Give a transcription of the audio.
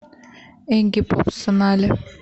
игги поп сонали